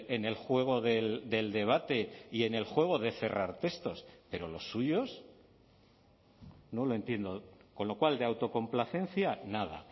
en el juego del debate y en el juego de cerrar textos pero los suyos no lo entiendo con lo cual de autocomplacencia nada